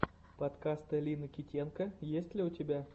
подкаст лины китенко есть ли у тебя